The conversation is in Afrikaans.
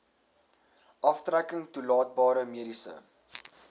aftrekking toelaatbare mediese